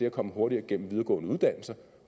at komme hurtigere igennem videregående uddannelser